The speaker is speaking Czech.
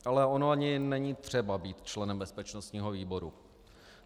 Ale ono ani není třeba být členem bezpečnostního výboru.